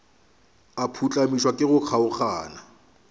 a phuhlamišwa ke go kgaogana